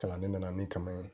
Kalan ne nana ni kaman ye